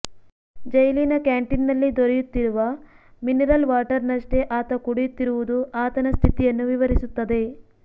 ಜೈಲಿನ ಕ್ಯಾಂಟೀನ್ನಲ್ಲಿ ದೊರೆಯು ತ್ತಿರುವ ಮಿನರಲ್ ವಾಟರ್ನ್ನಷ್ಟೇ ಆತ ಕುಡಿಯುತ್ತಿರುವುದು ಆತನ ಸ್ಥಿತಿಯನ್ನು ವಿವರಿಸುತ್ತದೆ